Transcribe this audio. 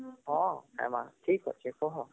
ହଁ ହେମା ହମ୍ଠିକ ଅଛି କହ